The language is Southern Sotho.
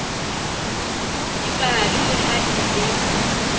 dipale le ha e le